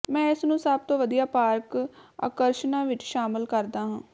ਮੈਂ ਇਸਨੂੰ ਸਭ ਤੋਂ ਵਧੀਆ ਪਾਰਕ ਆਕਰਸ਼ਨਾਂ ਵਿੱਚ ਸ਼ਾਮਲ ਕਰਦਾ ਹਾਂ